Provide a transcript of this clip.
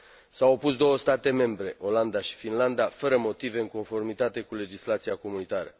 S au opus două state membre, Olanda și Finlanda, fără motive în conformitate cu legislația comunitară.